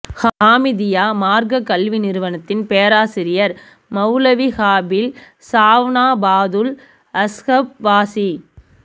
ஹாமிதிய்யா மார்க்கக் கல்வி நிறுவனத்தின் பேராசிரியர் மவ்லவீ ஹாஃபிழ் சாவன்னா பாதுல் அஸ்ஹப் ஃபாஸீ